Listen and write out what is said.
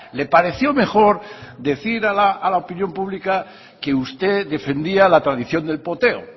le pareció mejor decir a la opinión pública que usted defendía la tradición del poteo